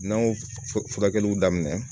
N'an y'o furakɛliw daminɛ